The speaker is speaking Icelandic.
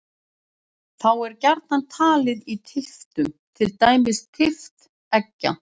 Þá er gjarnan talið í tylftum, til dæmis tylft eggja.